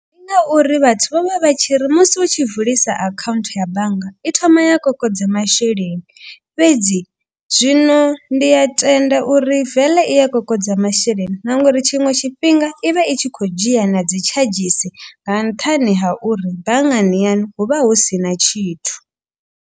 Ndi ngauri vhathu vha vha vha tshi ri musi u tshi vulisa akhaunthu ya bannga. I thoma ya kokodza masheleni fhedzi zwino ndi a tenda uri veḽe i a kokodza masheleni. Na nga uri tshiṅwe tshifhinga i vha i tshi khou dzhia na dzi tshadzhisi nga nṱhani ha uri banngani yaṋu vha hu sina tshithu.